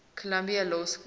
columbia law school